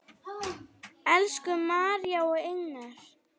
Elsku María og Inger.